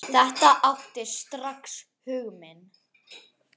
Þetta átti strax hug minn.